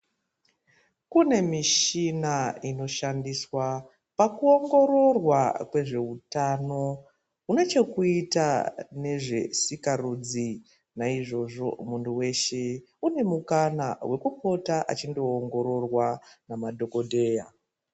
Kunemishina ino shandiswa paku wongororwa kwezvehutano, unechekuita nezvesikarudzi. Nayizvozvo, muntu weshe unemukanwa wokupota achi ndowongororwa namadhokodheya.